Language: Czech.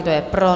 Kdo je pro?